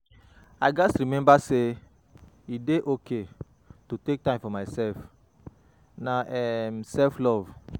I gats remember say e dey okay to take time for myself; na um self-love.